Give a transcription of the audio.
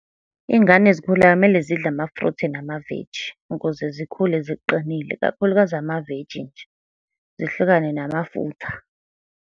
Iy'ngane ezikhulayo kumele zidle ama-fruit namaveji, ukuze zikhule ziqinile, kakhulukazi amaveji nje. Zihlukane namafutha.